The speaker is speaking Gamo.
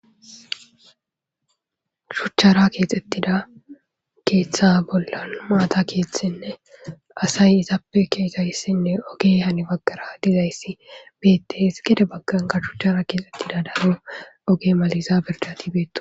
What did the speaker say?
shuchchara keexxettida keeththa bolla maata keethtinne asay izaappe keesayssinne oge hani baggara dizayssi beettes gede bagganka shuchchara keexxettida daro oge maliza birjati beetto